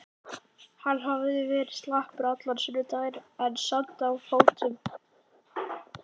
Hann hafði verið slappur allan sunnudaginn en samt á fótum.